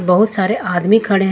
बहुत सारे आदमी खड़े हैं।